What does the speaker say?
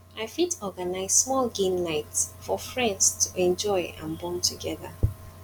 i fit organize small game night for friends to enjoy and bond together